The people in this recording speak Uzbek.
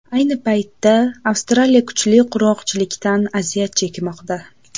Ayni paytda Avstraliya kuchli qurg‘oqchilikdan aziyat chekmoqda.